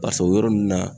Ka sɔrɔ o yɔrɔ nunnu na